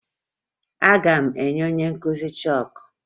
Aga m enye onye nkụzi chọọkụ